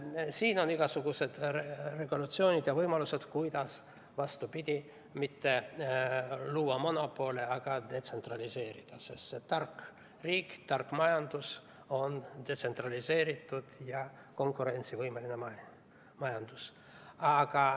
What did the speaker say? Aga on igasugused regulatsioonid ja võimalused, kuidas, vastupidi, mitte luua monopole, vaid detsentraliseerida, sest see tark riik, tark majandus on detsentraliseeritud ja konkurentsivõimeline majandus.